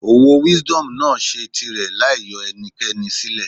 Òwò Wisdom náà ṣe tirẹ̀ láì yọ ẹnikẹ́ni sílẹ̀.